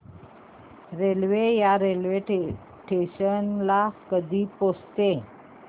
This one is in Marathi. रेल्वे या स्टेशन ला कधी पोहचते